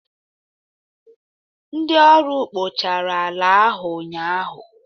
ndị ọrụ kpochara ala ahu ụnyaahụ